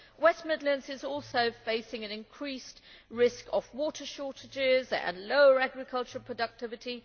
West Midlands is also facing an increased risk of water shortages and lower agricultural productivity.